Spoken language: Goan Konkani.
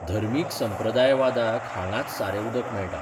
धर्मीक सांप्रदायवादाक हांगांच सारें उदक मेळटा.